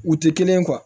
U tɛ kelen ye